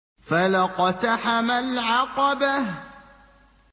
فَلَا اقْتَحَمَ الْعَقَبَةَ